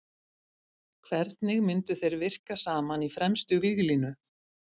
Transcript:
Hvernig myndu þeir virka saman í fremstu víglínu?